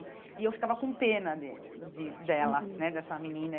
E eu ficava com pena de de dela né, dessa menina.